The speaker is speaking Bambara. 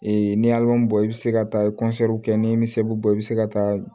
n'i ye bɔ i bɛ se ka taa kɛ ni misiw bɔ i bɛ se ka taa